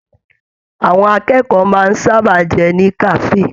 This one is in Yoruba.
Àwọn akẹ́kọ̀ọ́ máa n sábà jẹun ní kafe.